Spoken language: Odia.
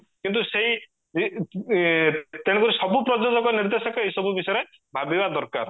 କିନ୍ତୁ ସେଇ ତେଣୁ କରି ସବୁ ପ୍ରଯୋଜକ ନିର୍ଦେଶକ ଏଇ ସବୁ ବିଷୟରେ ଭାବିବା ଦରକାର